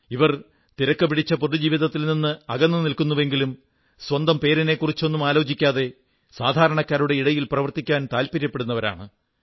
ഇവർ തിരക്കുപിടിച്ച പൊതു ജീവിതത്തിൽ നിന്ന് അകന്നു നിൽക്കുന്നുവെങ്കിലും സ്വന്തം പേരിനെക്കുറിച്ചൊന്നും ആലോചിക്കാതെ സാധാരണക്കാരുടെ ഇടയിൽ പ്രവർത്തിക്കാൻ താത്പര്യപ്പെടുന്നവരാണ